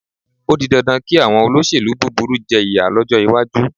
Ó di dandan kí àwọn olóṣèlú búburú jẹ ìyà lọ́jọ́ iwájú.